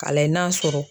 Ka lajɛ n'a sɔrɔ